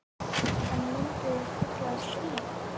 En myndu þau kalla það stríð?